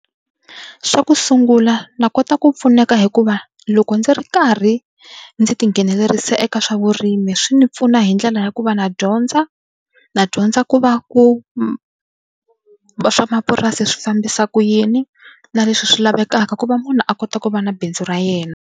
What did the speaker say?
Xa ku sungula na kota ku pfuneka hikuva loko ndzi ri karhi ndzi tinghenelerisa eka swa vurimi swi ni pfuna hi ndlela ya ku va na dyondza na dyondza ku va ku va swamapurasi swi fambisa ku yini na leswi swi lavekaka ku va munhu a kota ku va na bindzu ra yena.